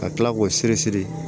Ka tila k'o siri siri